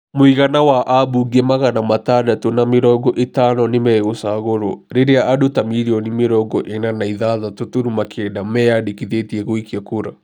Mũigana wa abunge magana matandatũ na mĩrongo ĩtano nĩmegũchagũrwo rĩrĩa andũ ta mirioni mĩrongo ĩna na ithathatũ turuma kenda meyandikithĩtie gũikia kura.